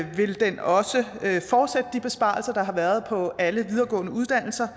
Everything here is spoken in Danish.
vil den også fortsætte de besparelser der har været på alle videregående uddannelser